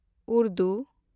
Urdu